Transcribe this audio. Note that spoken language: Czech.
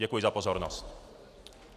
Děkuji za pozornost.